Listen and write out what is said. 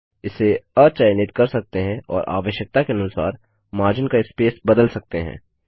इसे अचयनित कर सकते हैं और आवश्यकता के अनुसार मार्जिन का स्पेस बदल सकते हैं